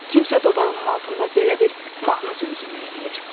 Kimsə dodağının altında belə bir mahnı zümzümə eləyir.